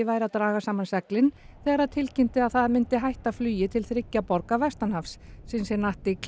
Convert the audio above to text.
væri að draga saman seglin þegar það tilkynnti að það myndi hætti flugi til þriggja borga vestanhafs